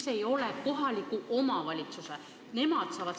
Miks ei ole see kohaliku omavalitsuse ülesanne?